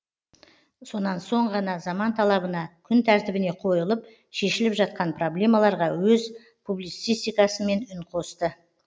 сонан соң ғана заман талабына күн тәртібіне қойылып шешіліп жатқан проблемаларға өз публицистикасымен үн қосты